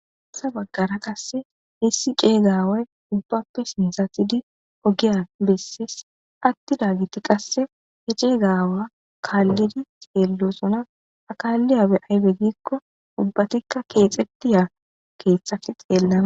Hayissa baggara qassi issi cegga aawayi ubbape sinthatidi ogiya besi atidageti qassi kalidi xelosona kaliyabayi ayibe gikko ubbatika kexetida kethako